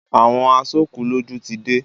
Àwọn aṣòkúlọ́jọ̀ ti dé.